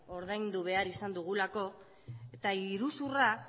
ordaindu behar izan dugulako eta iruzurra